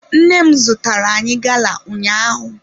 Nne m zụtara anyị gala ụnyaahụ.